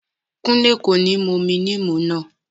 Kúnlé kò ní mú omi níìmù náà